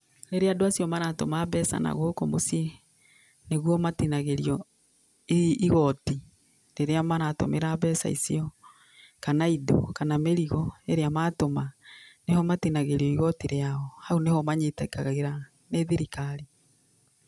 Rĩrĩa andũ acio maratũma mbeca na gũkũ mũciĩ nĩguo matinagĩrio igoti, rĩrĩa maratũmĩra mbeca icio kana indo, kana mĩrigo ĩrĩa matũma, nĩho matinagĩrio igoti rĩao. Hau nĩho manyitĩkagĩra nĩ thirikari.